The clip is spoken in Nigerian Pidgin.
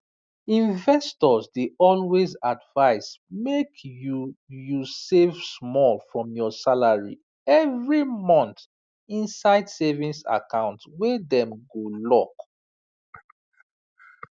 investors dey always advise make you you save small from your salary every month inside savings account wey dem go lock